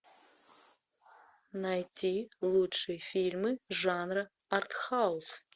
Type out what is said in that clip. найти лучшие фильмы жанра арт хаус